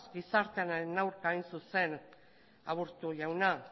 gizartearen aurka hain zuzen aburto jauna